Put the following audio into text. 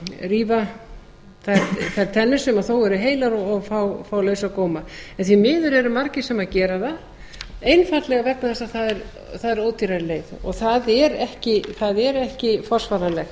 rífa þær tennur sem þó eru heilar og fá lausa góma því miður eru margir sem gera það einfaldlega vegna þess að það er ódýrari leið og það er ekki forsvaranlegt